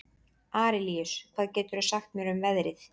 Arilíus, hvað geturðu sagt mér um veðrið?